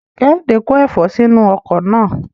Kehinde ko efo sinu oko naa